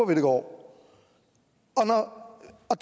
vi det går og